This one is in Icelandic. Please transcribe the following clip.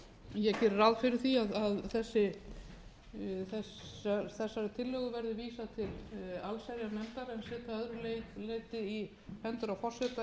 ég geri ráð fyrir því að þessari tillögu verði vísað til allsherjarnefndar en set það að öðru leyti í hendur á forseta ef það